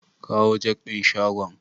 Kawo jak din shagon.